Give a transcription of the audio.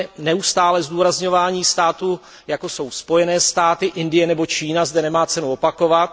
Neustálé zdůrazňování států, jako jsou Spojené státy, Indie nebo Čína, zde nemá cenu opakovat.